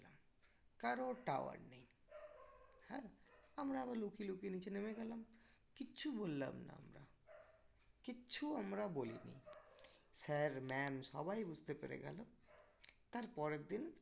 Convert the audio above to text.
কারো tower নেই হ্যাঁ আমরা আবার লুকিয়ে লুকিয়ে নিচে নেমে গেলাম কিচ্ছু বললাম না আমরা কিচ্ছু আমরা বলিনি sir ma'am সবাই বুঝতে পেরে গেলো তারপরের দিন